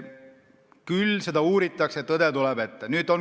Küllap seda uuritakse ja tõde tuleb välja.